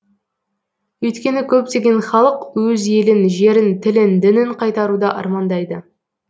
өйткені көптеген халық өз елін жерін тілін дінін қайтаруды армандайды